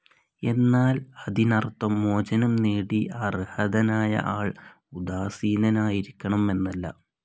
എന്നാൽ അതിനർത്ഥം, മോചനംനേടി അർഹതനായ ആൾ ഉദാസീനനായിരിക്കണം എന്നല്ല.